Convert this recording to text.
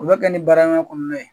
O bɛ kɛ ni baaraman kɔnɔna ye.